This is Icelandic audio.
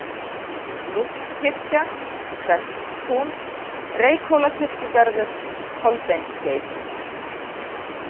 Núpskirkja, Preststún, Reykhólakirkjugarður, Kolbeinsskeið